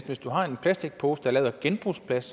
hvis du har en plastikpose der er lavet af genbrugsplast